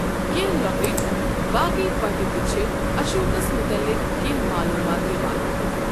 کینٛہہ لۄکٕٹۍ باقی پٹہٕ تہِ چھِ اشوکس متعلق کینٛہہ معلوٗمات دِوان۔